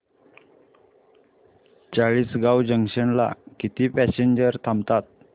Chalisgaon junction ला किती passengers थांबतात